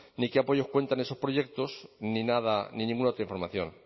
ni con qué apoyos cuentan esos proyectos ni nada ni ninguna otra información